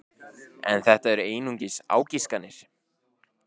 En þetta eru einungis ágiskanir.